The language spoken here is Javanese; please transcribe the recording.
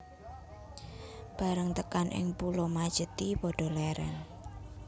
Bareng tekan ing Pulo Majethi padha lèrèn